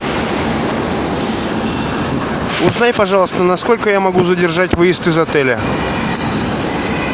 узнай пожалуйста на сколько я могу задержать выезд из отеля